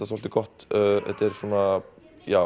svolítið gott þetta er svona